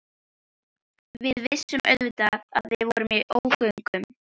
Við vissum auðvitað að við vorum í ógöngum.